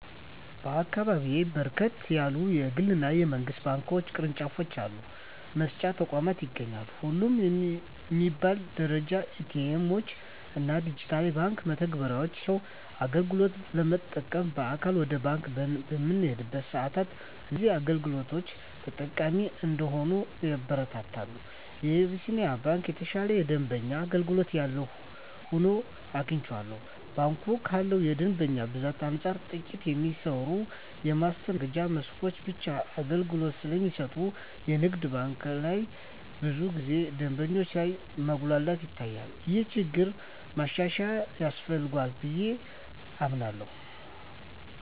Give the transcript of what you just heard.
በአካባቢየ በርከት ያሉ የግል እና የመንግስት ባንክ ቅርጫፍ አገልግሎት መስጫ ተቋማት ይገኛሉ። ሁሉም በሚባል ደረጃ ኤ.ቲ. ኤምዎች እና ዲጂታል የባንክ መተግበሪያዎች ሲኖሯቸው አገልግሎት ለመጠቀም በአካል ወደ ባንክ በምንሄድበት ሰአትም እዚህን አገልግሎቶች ተጠቃሚ እንድንሆን ያበረታታሉ። የአቢስንያ ባንክ የተሻለ የደንበኛ አገልግሎት ያለው ሆኖ አግኝቸዋለሁ። ባንኩ ካለው የደንበኛ ብዛት አንፃር ጥቂት የሚሰሩ የማስተናገጃ መስኮቶች ብቻ አገልግሎት ስለሚሰጡ የንግድ ባንክ ላይ ብዙ ጊዜ ደንበኞች ላይ መጉላላት ይታያል። ይህ ችግር ማሻሻያ ያስፈልገዋል ብየ አምናለሁ።